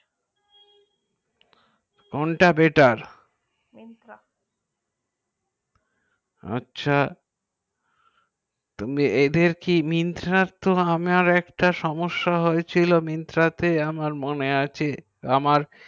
কোন টা Myntra আচ্ছা এদের কি Myntra আমার Myntra কি সমেস্যা হয়ে ছিল আমার মনে আছে